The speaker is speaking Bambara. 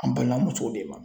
An balimamusow de ma.